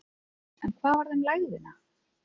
En hvað varð um lægðina?